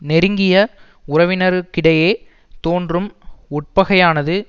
நெருங்கிய உறவினருக்கிடையே தோன்றும் உட்பகையானது